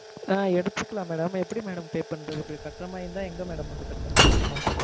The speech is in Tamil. ஆஹ் எடுத்துக்கலாம் madam எப்படி madam pay பண்றது. அப்படி கட்டற மாதிரி இருந்தா எங்க madam வந்து கட்டணும்?